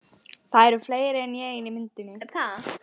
Það eru fleiri en ég inni í myndinni.